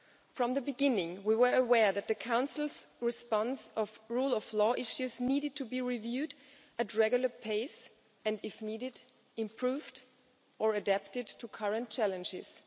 From the beginning we were aware that the Council's response to rule of law issues needed to be reviewed at a regular pace and if needed, improved or adapted to current challenges.